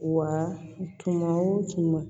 Wa tuma o tuma